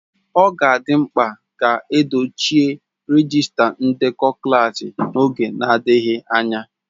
Ọ ga-adị mkpa ka edochie rejiista ndekọ klaasị n'oge adịghị anya.